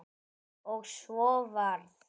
Og svo varð.